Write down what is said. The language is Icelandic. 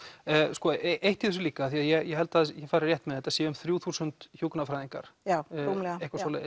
sko eitt í þessu líka því að ég held að ég fari rétt með þetta séu um þrjú þúsund hjúkrunarfræðingar já rúmlega